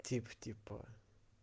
тип типа